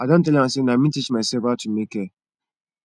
i don tell am sey na me teach myself how to make hair